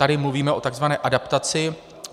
Tady mluvíme o tzv. adaptaci.